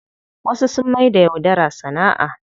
Wasu sun maida yaudara sana'a.